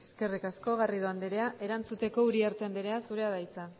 eskerrik asko garrido andrea erantzuteko uriarte andrea zurea da hitza